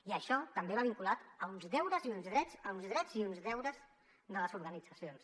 i això també va vinculat a uns deures i uns drets a uns drets i uns deures de les organitzacions